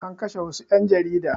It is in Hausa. An kashe wassu ƴan jarida